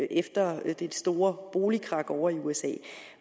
efter det store boligkrak ovre i usa